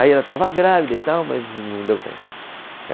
Aí ela estava grávida e tal, mas não deu tempo.